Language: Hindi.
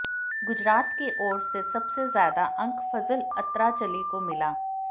गुजरात के ओर से सबसे ज्यादा अंक फजल अत्राचली को मिला